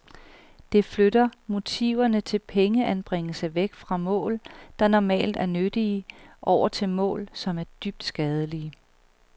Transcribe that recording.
Det flytter motiverne til pengeanbringelse væk fra mål, der normalt er nyttige, over til mål, som er dybt skadelige.